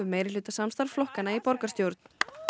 meirihlutasamstarf flokkanna í borgarstjórn